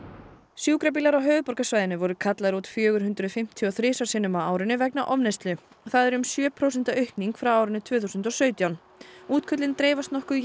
sjúkrabílar á höfuðborgarsvæðinu voru kallaðir út fjögur hundruð fimmtíu og þrisvar sinnum á árinu vegna ofneyslu það er um sjö prósenta aukning frá árinu tvö þúsund og sautján útköllin dreifast nokkuð